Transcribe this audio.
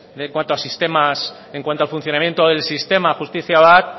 en cuanto a sistemas en cuanto al funcionamiento del sistema justizia bat